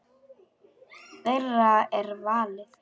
Þeirra er valið.